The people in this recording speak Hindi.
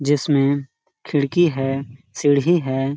जिसमे खिड़की है सीढि है।